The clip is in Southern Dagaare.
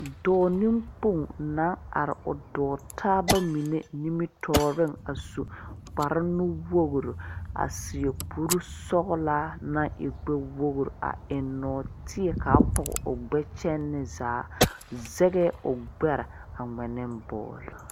Doɔ ninkpong nan arẽ a ɔ doɔ taaba menne nimitoɔring a su kpare nuwori a seɛ kuri sɔglaa nang e gbe wogri a en nuoteɛ kaa pɔg ɔ gbe kyene zaa zɛgɛɛ ɔ gbɛre a ngmɛ ne bɔl.